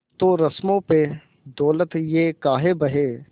तो रस्मों पे दौलत ये काहे बहे